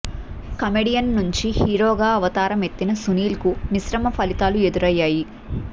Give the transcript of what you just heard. comedian నుంచి హీరోగా అవతారం ఎత్తిన సునీల్కు మిశ్రమ ఫలితాలు ఎదురయ్యాయి